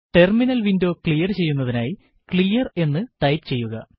terminal window clear ചെയ്യുന്നതിനായി clear എന്ന് type ചെയ്യുക